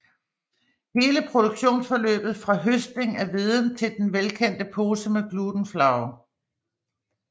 Hele produktionsforløbet fra høstning af hveden til den velkendte pose med Gluten Flour